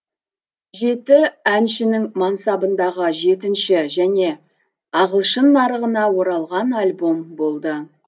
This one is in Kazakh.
жеті әншінің мансабындағы жетінші және ағылшын нарығына оралған альбом болды